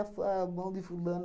fu a mão de fulana